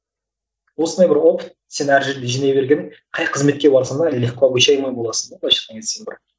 осындай бір опыт сен әр жерге жинай бергенің қай қызметке барсаңда легко обучаемый боласың да былайша айтқанда сен бір